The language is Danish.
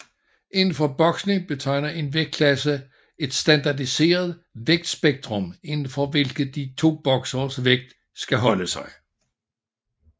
Inden for boksning betegner en vægtklasse et standardiseret vægtspektrum inden for hvilket de to bokseres vægt skal holde sig